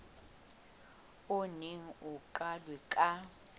o neng o qalwe ka